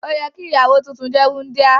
Òyẹ ki ìyàwó tuntun jẹ wundia.